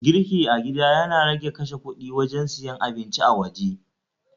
Girki a gida Yana rage kashe kudi wajen siyan abinci a waje